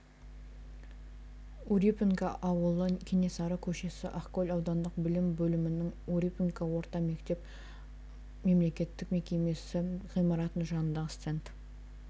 урюпинка ауылы кенесары көшесі ақкөл аудандық білім бөлімінің урюпинка орта мектебі мемлекеттік мекемесі ғимаратының жанындағы стенд